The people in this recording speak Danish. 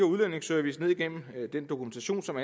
udlændingeservice ned igennem den dokumentation som